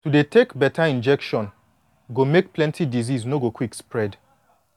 to dey take beta injection go make plenty disease no go quick spread